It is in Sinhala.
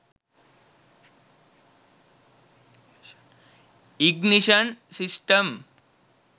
ignition system